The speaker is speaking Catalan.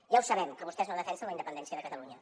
ja ho sabem que vostès no defensen la independència de catalunya